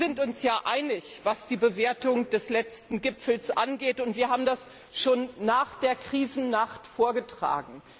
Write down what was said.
Wir sind uns einig, was die Bewertung des letzten Gipfels angeht, und wir haben das schon nach der Krisennacht vorgetragen.